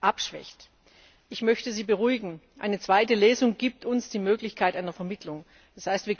als abschwächt. Ich möchte Sie beruhigen, eine zweite Lesung gibt uns die Möglichkeit einer Vermittlung,